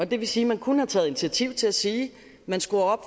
det vil sige at man kunne have taget initiativ til at sige at man skruer op